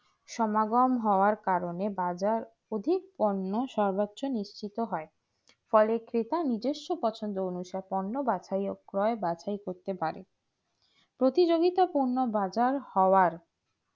সমগন হয়েও কারণে বাজার অধিক সার্বোচ নিশিত হয় ফলে কেতা নিজেস্ব পছন্দ অনুসারে বাছাই আর ক্রয় বাছাই করতে পারে প্রতিযগিতা পূর্ন বাজার হওয়ায়